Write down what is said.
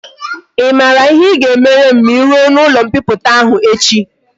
I mara ihe i ga emere m ma i ruo na ulo mpiputa ahu echi?